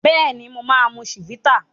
Béèni mọ má mú Chivita